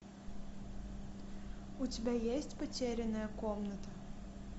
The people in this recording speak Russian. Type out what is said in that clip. у тебя есть потерянная комната